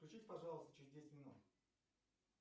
включись пожалуйста через десять минут